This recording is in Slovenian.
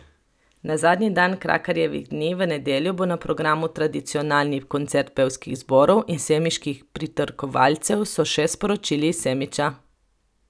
Na zadnji dan Krakarjevih dni, v nedeljo, bo na programu tradicionalni koncert pevskih zborov in semiških pritrkovalcev, so še sporočili iz Semiča.